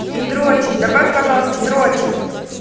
и дрочит добавь пожалуйста дрочит